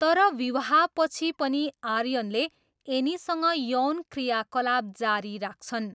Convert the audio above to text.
तर विवाहपछि पनि आर्यनले एनीसँग यौन क्रियाकलाप जारी राख्छन्।